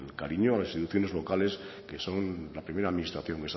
cariño a las instituciones locales que son la primera administración